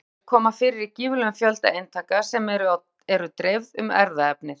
Báðar gerðir koma fyrir í gífurlegum fjölda eintaka sem eru dreifð um erfðaefnið.